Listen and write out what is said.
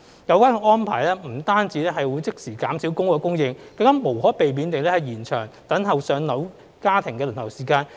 有關安排不但即時減少公屋供應，亦無可避免地延長等待"上樓"家庭的輪候時間。